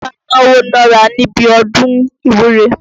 Ọba náwó nára níbi ọdún ìwúre.